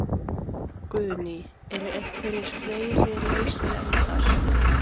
Guðný: Eru einhverjir fleiri lausir endar?